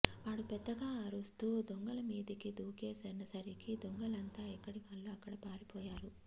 వాడు పెద్దగా అరుస్తూ దొంగల మీదికి దూకే సరికి దొంగలంతా ఎక్కడివాళ్ళు అక్కడ పారిపోయారు